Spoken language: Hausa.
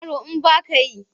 Yaro in ba ka yi?